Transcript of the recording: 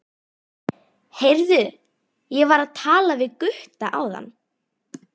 Heyrðu, ég var að tala við Gutta áðan.